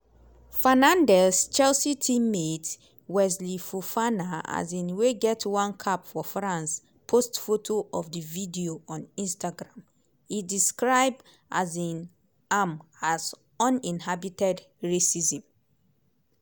fernandez chelsea team-mate wesley fofana um wey get one cap for france post photo of di video on instagram e describe um am as "uninhibited racism".